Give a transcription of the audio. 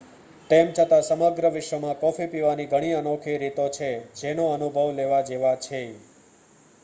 તેમ છતાં સમગ્ર વિશ્વમાં કૉફી પીવાની ઘણી અનોખી રીતો છે જેના અનુભવ લેવા જેવા છે